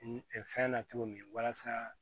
fɛn na cogo min walasa